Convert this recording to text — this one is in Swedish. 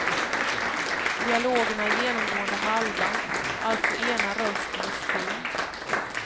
Dialogerna är genomgående halva, alltså ena rösten är stum.